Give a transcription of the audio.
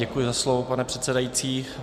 Děkuji za slovo, pane předsedající.